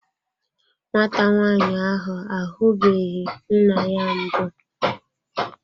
Nwata nwaanyị ahụ ahubeghi nna ya mbụ.